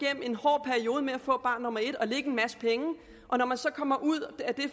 at med at få barn nummer et og lægge en masse penge og når man så kommer ud af det